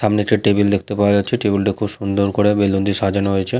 সামনে একটি টেবিল দেখতে পাওয়া যাচ্ছে টেবিল -টা খুব সুন্দর করে বেলুন দিয়ে সাজানো হয়েছে।